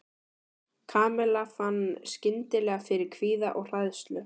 Kamilla fann skyndilega fyrir kvíða og hræðslu.